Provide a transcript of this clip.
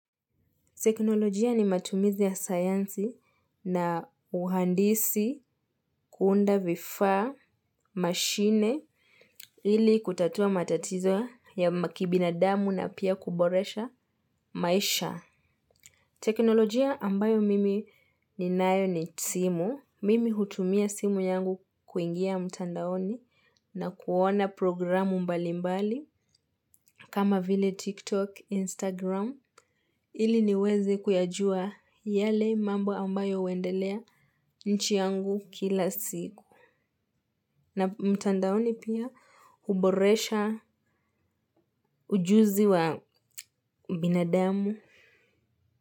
Teknolojia ni matumizi ya sayansi na uhandisi kuunda vifaa, machine, ili kutatua matatizo ya makibinadamu na pia kuboresha maisha. Teknolojia ambayo mimi ninayo ni simu. Mimi hutumia simu yangu kuingia mtandaoni na kuona programu mbali mbali. Kama vile TikTok, Instagram, ili niweze kuyajua yale mambo ambayo huendelea nchi yangu kila siku. Na mtandaoni pia huboresha ujuzi wa binadamu.